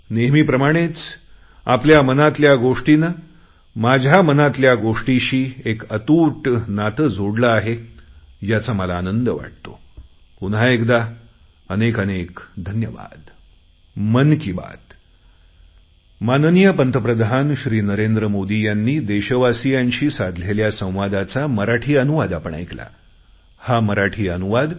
नेहमीप्रमाणेच आपल्या मनातल्या गोष्टीने माझ्या मनातल्या गोष्टीशी एक अतूट नाते जोडले आहे याचा मला आनंद वाटतो पुन्हा एकदा अनेक अनेक धन्यवाद